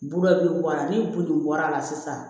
Burube bɔ a la ni boli bɔra a la sisan